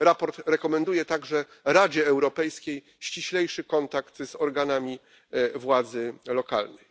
Sprawozdanie rekomenduje także Radzie Europejskiej ściślejszy kontakt z organami władzy lokalnej.